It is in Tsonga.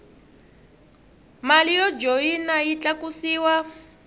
mali yo joyina yi tlakusiwa